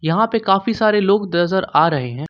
यहां पे काफी सारे लोग नजर आ रहे हैं।